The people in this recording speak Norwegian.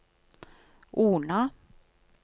Ona